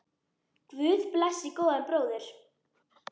Guð blessi góðan bróður!